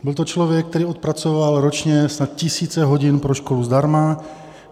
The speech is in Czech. Byl to člověk, který odpracoval ročně snad tisíce hodin pro školu zdarma.